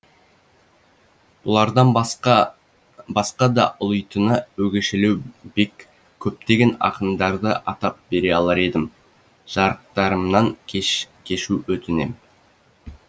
бұлардан басқа басқа да ұлитыны өгешелеу бек көптеген ақындарды атап бере алар едім жарықтарымнан кешу өтінем